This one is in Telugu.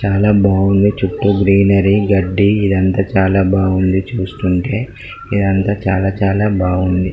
చాల బాగుంది చుట్టూ గ్రీనరీ గడ్డి ఇదంతా చాల బాగుంది చూస్తుంటే ఇదంతా చాల చాల బాగుంది.